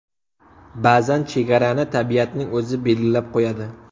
Ba’zan chegarani tabiatning o‘zi belgilab qo‘yadi.